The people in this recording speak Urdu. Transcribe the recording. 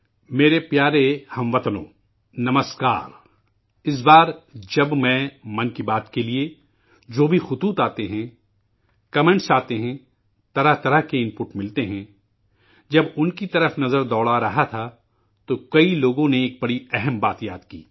28 مارچ میرے پیارے ہم وطنو، نمسکار! اس بار، جب میں،'من کی بات' کے لیے، جو بھی خطوط آتے ہیں، تبصرے آتے ہیں، مختلف قسم کی جانکاری ملتی ہیں، جب انکی طرف نظر دوڑا رہا تھا، تو کئی لوگوں نے ایک بہت ہی اہم بات یاد کی